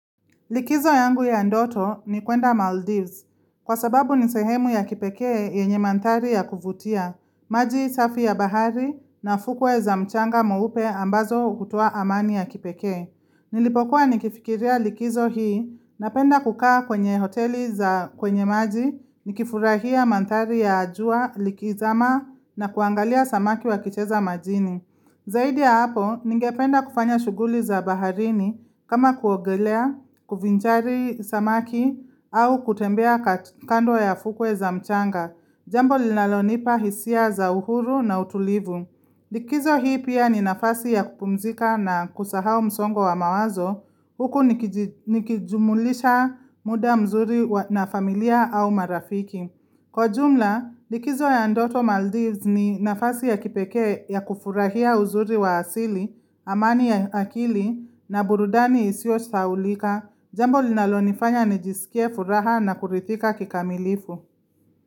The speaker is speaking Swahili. Likizo yangu ya ndoto ni kuenda Maldives. Kwa sababu ni sehemu ya kipekee yenye mandhari ya kuvutia, maji safi ya bahari na fukwe za mchanga mweupe ambazo hutoa amani ya kipekee. Nilipokuwa nikifikiria likizo hii napenda kukaa kwenye hoteli za kwenye maji, nikifurahia mandhari ya jua likizama na kuangalia samaki wakicheza majini. Zaidi ya hapo, ningependa kufanya shughuli za baharini kama kuogelea, kuvinjari samaki au kutembea kando ya fukwe za mchanga, jambo linalonipa hisia za uhuru na utulivu. Likizo hii pia ni nafasi ya kupumzika na kusau msongo wa mawazo, huku nikijumulisha muda mzuri na familia au marafiki. Kwa jumla, likizo ya ndoto Maldives ni nafasi ya kipekee ya kufurahia uzuri wa asili, amani ya akili na burudani isiosahaulika, jambo linalonifanya nijisikie furaha na kuridhika kikamilifu.